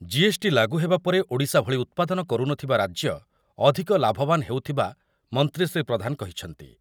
GST ଲାଗୁହେବା ପରେ ଓଡ଼ିଶା ଭଳି ଉତ୍ପାଦନ କରୁନଥିବା ରାଜ୍ୟ ଅଧିକ ଲାଭବାନ ହେଉଥବା ମନ୍ତ୍ରୀ ଶ୍ରୀ ପ୍ରଧାନ କହିଛନ୍ତି।